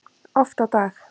Oft á dag.